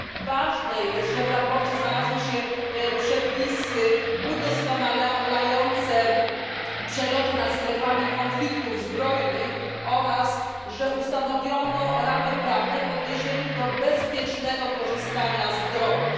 Ważne jest, że w sprawozdaniu znalazły się przepisy udoskonalające przeloty nad strefami konfliktów zbrojnych oraz że ustanowiono ramy prawne w odniesieniu do bezpiecznego korzystania z dronów.